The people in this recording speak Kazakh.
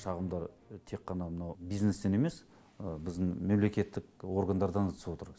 шағымдар тек қана мынау бизнестен емес біздің мемлекеттік органдардан да түсіп отыр